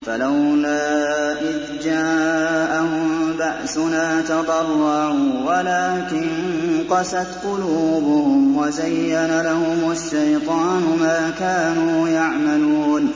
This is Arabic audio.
فَلَوْلَا إِذْ جَاءَهُم بَأْسُنَا تَضَرَّعُوا وَلَٰكِن قَسَتْ قُلُوبُهُمْ وَزَيَّنَ لَهُمُ الشَّيْطَانُ مَا كَانُوا يَعْمَلُونَ